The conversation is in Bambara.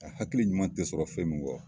A hakili ɲuman te sɔrɔ fen min kɔ